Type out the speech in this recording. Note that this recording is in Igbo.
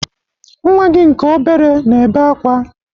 Nnwa gị nke obere na-ebe akwa.